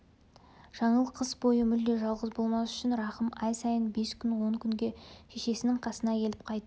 жаңыл қыс бойы мүлде жалғыз болмас үшін рахым ай сайын бес күн он күнге шешесінің қасына келіп қайтып